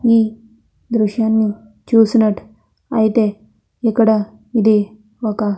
ఈ దృశ్యాన్ని చూసినట్టుయితే ఇక్కడ ఇది ఒక --